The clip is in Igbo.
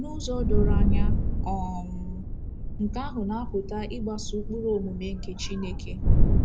N’ụzọ doro anya, um nke ahụ na-apụta ịgbaso ụkpụrụ omume nke Chineke.